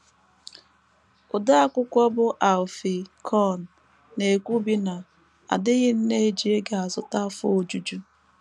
Odeakụkọ bụ́ Alfie Kohn na - ekwubi na “ a dịghị nnọọ eji ego azụta afọ ojuju....